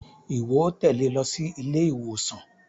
Iwọ óò tẹle ló sí ilé-ìwòsàn